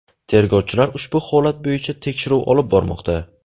Tergovchilar ushbu holat bo‘yicha tekshiruv olib bormoqda.